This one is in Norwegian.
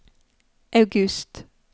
august